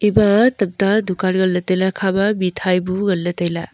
ema tamta dukan ngan ley tailey hekha ma mithai bu ngan ley tailey.